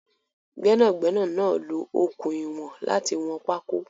Gbénàgbénà náà lo okùn ìwọ̀n láti wọn pákó